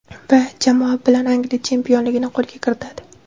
Va jamoa bilan Angliya chempionligini qo‘lga kiritadi.